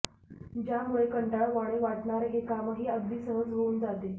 ज्यामुळे कंटाळवाणे वाटणारे हे कामही अगदी सहज होऊन जाते